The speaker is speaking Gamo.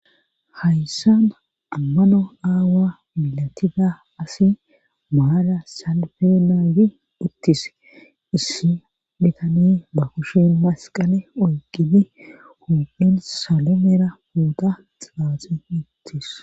Hayssan ammano aawa milatida asi maara salfeenawi uttis issi bhitani ba kushin masqale oyqini humphin salomera puuta xaaxi uttis.